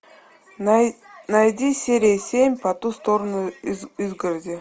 найди серия семь по ту сторону изгороди